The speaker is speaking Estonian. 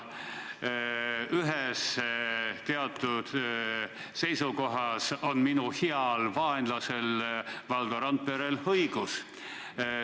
Ühes teatud seisukohas on minu heal vaenlasel Valdo Randperel õigus.